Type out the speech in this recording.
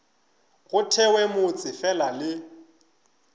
go thewe motse fela le